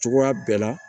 Cogoya bɛɛ la